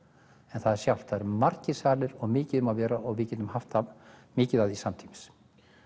en það sjálft það eru margir salir og mikið um að vera og við getum haft mikið af því samtímis